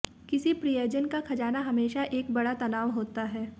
किसी प्रियजन का खजाना हमेशा एक बड़ा तनाव होता है